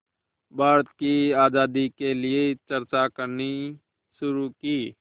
भारत की आज़ादी के लिए चर्चा करनी शुरू की